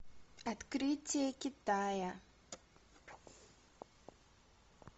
открытие китая